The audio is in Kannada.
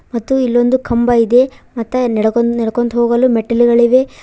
ಮತ್ತು ಇಲ್ಲೊಂದು ಕಂಬ ಇದೆ ಮತ್ತೆ ನಡೆಕೊಂಡ ನಡೆಕೊಂಡು ಹೋಗಲು ಮೆಟ್ಟಿಲುಗಳಿವೆ.